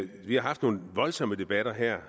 vi har haft nogle voldsomme debatter her